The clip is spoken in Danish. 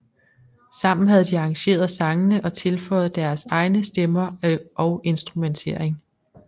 Sammen havde de arrangeret sangene og tilføjet deres egne stemmer og instrumentering